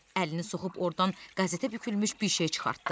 Əlini soxub ordan qəzetə bükülmüş bir şey çıxartdı.